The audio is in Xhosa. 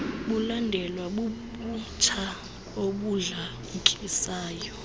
bulandelwa bubutsha obudlamkisayo